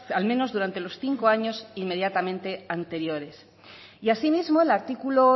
al menos durante los cinco años inmediatamente anteriores y asimismo el artículo